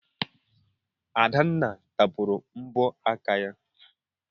Adanna tapụrụ mbọ aka ya.